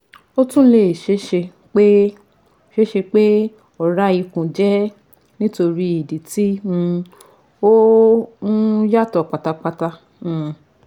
O tun le ṣee ṣe pe ṣee ṣe pe ọra ikun jẹ nitori idi ti um o um yatọ patapata um